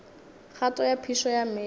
kgato ya phišo ya meetse